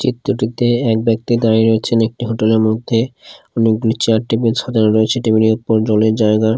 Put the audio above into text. চিত্রটিতে এক ব্যক্তি দাঁড়িয়ে রয়েছেন একটি হোটেল -এর মধ্যে অনেকগুলি চেয়ার টেবিল সাজানো রয়েছে টেবিল -এর উপর জলের জায়গা--